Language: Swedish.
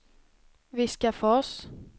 Viskafors